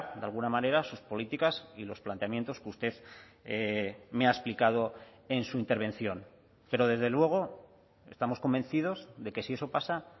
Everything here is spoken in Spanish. de alguna manera sus políticas y los planteamientos que usted me ha explicado en su intervención pero desde luego estamos convencidos de que si eso pasa